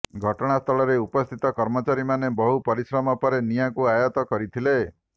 ଘଟଣାସ୍ଥଳରେ ଉପସ୍ଥିତ କର୍ମଚାରୀମାନେ ବହୁ ପରିଶ୍ରମ ପରେ ନିଆଁକୁ ଆୟତ୍ତ କରିଥିଲେ